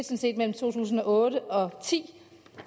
set mellem to tusind og otte og to og ti